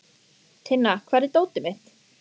Tinna, hvar er dótið mitt?